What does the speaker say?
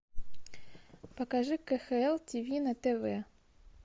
покажи кхл ти ви на тв